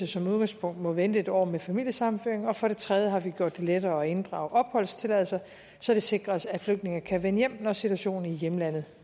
som udgangspunkt må vente en år med familiesammenføring og for det tredje har vi gjort det lettere at inddrage opholdstilladelser så det sikres at flygtninge kan vende hjem når situationen i hjemlandet